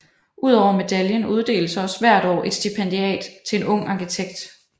Udover medaljen uddeles også hvert år et stipendiat til en ung arkitekt